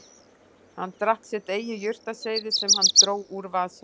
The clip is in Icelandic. Hann drakk sitt eigið jurtaseyði sem hann dró úr vasa